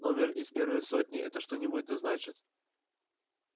номер из первой сотни это что-нибудь да значит